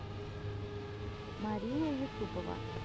мария юсупова